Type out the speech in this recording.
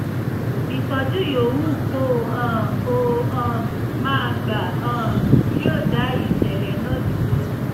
ìtọ́jú yòówù kó um o um máa gbà um yóò dá ìṣẹ̀lẹ̀ náà dúró